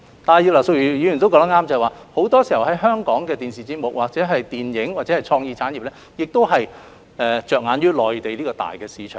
但是，葉劉淑儀議員亦說得對，香港的電視節目、電影或創意產業很多時候着眼於內地的龐大市場。